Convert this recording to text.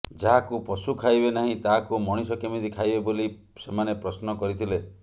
ଯାହାକୁ ପଶୁ ଖାଇବେ ନାହିଁ ତାହାକୁ ମଣିଷ କେମିତି ଖାଇବେ ବୋଲି ସେମାନେ ପ୍ରଶ୍ନ କରିଥିଲେ